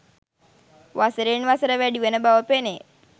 වසරෙන් වසර වැඩි වන බව පෙනේ